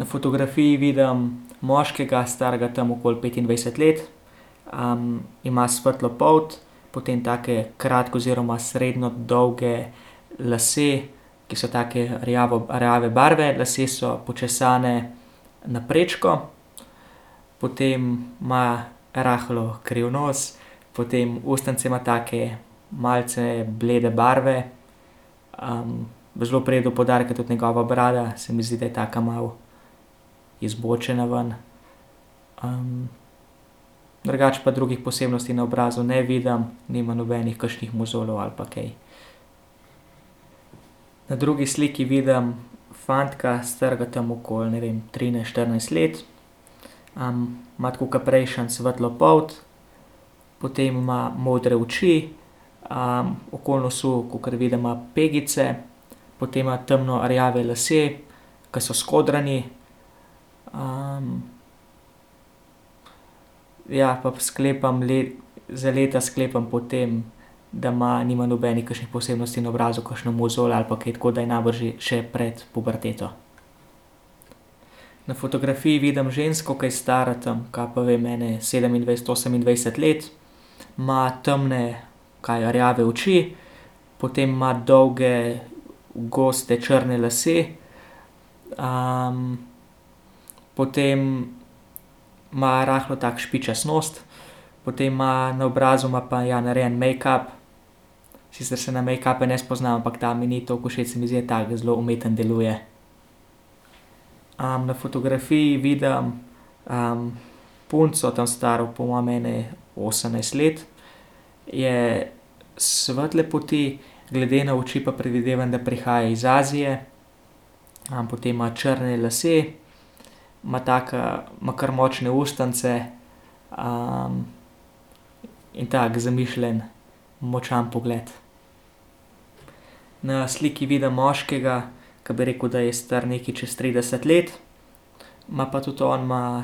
Na fotografiji vidim moškega, starega tam okoli petindvajset let, ima svetlo polt, potem take oziroma srednje dolge lase, ki so take rjave barve. Lasje so počesani na prečko. Potem ima rahlo kriv nos. Potem ustnice ima take malce blede barve, zelo pride do poudarka tudi njegova brada, se mi zdi, da je taka malo izbočena ven. drugače pa drugih posebnosti na obrazu ne vidim. Nima nobenih kakšnih mozoljev ali pa kaj. Na drugi sliki vidim fantka, starega tam okoli, ne vem, trinajst, štirinajst let. ima, tako ke prejšnji svetlo polt, potem ima modre oči, okoli nosu, kakor vidim, ima pegice. Potem ima temno rjave lase, ke so skodrani. ... Ja, pa sklepam za leta sklepam po tem, da ima, nima nobenih kakšnih posebnosti na obrazu, kakšne mozolje ali pa kaj, tako da je najbrž že, še pred puberteto. Na fotografiji vidim žensko, ke je stara tam, kaj pa vem, ene sedemindvajset, osemindvajset let. Ima temne, kaj, rjave oči, potem ima dolge, goste, črne lase. potem ima rahlo tak špičast nos. Potem ima na obrazu, ima pa, ja, narejen mejkap, sicer se na mejkape ne spoznam, ampak ta mi ni toliko všeč, se mi zdi, da ta je, zelo umeten deluje. na fotografiji vidim, punco tam staro po mojem ene osemnajst let. Je svetle polti, glede na oči pa predvidevam, da prihaja iz Azije. potem ima črne lase. Ima taka, ima kar močne ustnice, in tako zamišljen, močan pogled. Na sliki vidim moškega, ke bi rekel, da je star nekaj čez trideset let, ima pa tudi, on ima,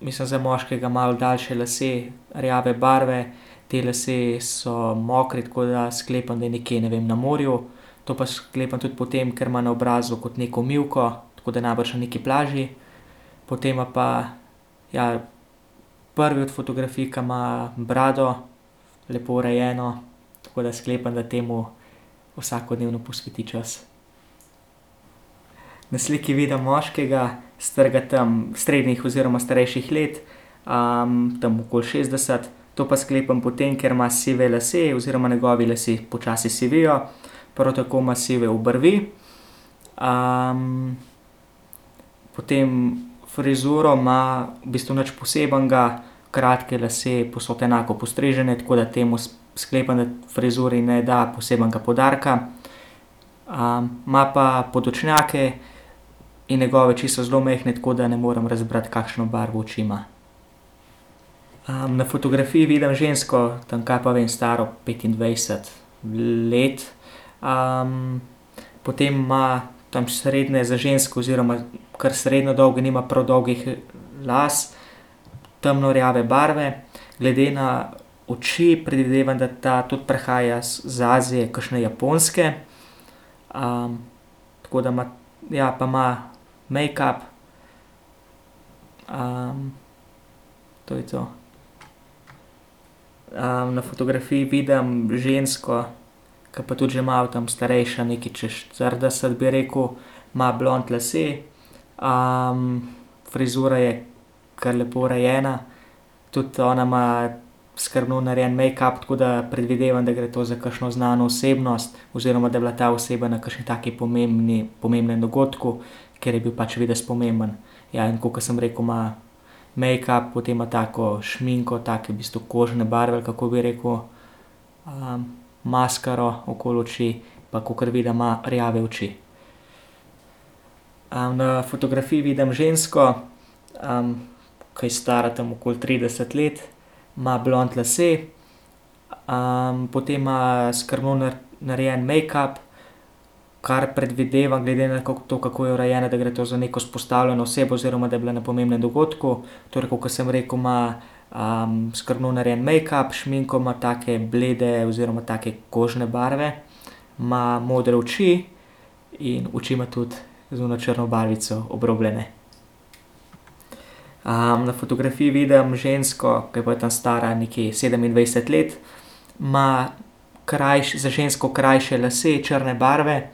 mislim za moškega malo daljše lase, rjave barve. Ti lasje so mokri, tako da sklepam, da je nekje, ne vem, na morju. To pa sklepam tudi po tem, ker ima obrazu kot neko mivko, tako da je najbrž na neki plaži. Potem ima pa, ja, prvi od fotografij, ki ima brado lepo urejeno, tako da sklepam, da temu vsakodnevno posveti čas. Na sliki vidim moškega, starega tam, srednjih oziroma starejših let, tam okoli šestdeset. To pa sklepam po tem, ker ima sive lase, oziroma njegovi lasje počasi sivijo. Prav tako ima sive obrvi. potem frizuro ima v bistvu nič posebnega. Kratke lase, povsod enako postrižene, tako da tem sklepam, da frizuri ne da posebnega poudarka. ima pa podočnjake in njegove oči so zelo majhne, tako da ne morem razbrati, kakšno barvo oči ima. na fotografiji vidim žensko tam, kaj pa vem, staro petindvajset let, Potem ima tam srednje za žensko oziroma kar srednje dolge, nima prav dolgih las. Temno rjave barve, glede na oči predvidevam, da ta tudi prihaja iz Azije, kakšne Japonske. tako da ima, ja pa ima mejkap, to je to. na fotografiji vidim žensko, ke pa tudi že malo tam starejša, nekaj čez štirideset, bi rekel. Ima blond lase, frizura je kar lepo urejena, tudi ona ima skrbno narejen mejkap, tako da predvidevam, da gre to za kakšno znano osebnost. Oziroma, da je bila ta oseba na kakšni takšni pomembni, pomembnem dogodku, ker je bil pač videz pomemben, Ja, in tako, kot sem rekel, ima mejkap, potem ima tako šminko, take v bistvu kožne barve, kako bi rekel. maskaro okoli oči, pa kakor vidim, ima rjave oči. na fotografiji vidim žensko, ke je stara tam okoli trideset let. Ima blond lase, potem ima skrbno narejen mejkap, kar predvidevam glede na to, kako je urejena, da gre to za neko izpostavljeno osebno oziroma, da je bila na pomembnem dogodku, torej, kakor sem rekel, ima, skrbno narejen mejkap, šminko ima take blede oziroma take kožne barve. Ima modre oči in oči ima tudi z ono črno barvico obrobljene. na fotografiji vidim žensko, ke je pa tam stara nekje sedemindvajset let. Ima za žensko krajše lase, črne barve,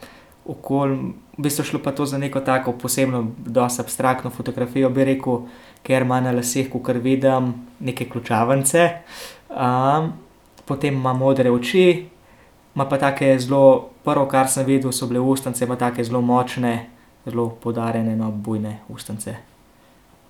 okoli v bistvu je šlo pa to za neko tako posebno dosti abstraktno fotografijo, bi rekel, ker ima na laseh, kakor vidim, neke ključavnice, Potem ima modre oči, ima pa tako zelo prvo, kar sem videl, so bile ustnice bolj take zelo močne. Zelo poudarjene, no, bujne ustnice.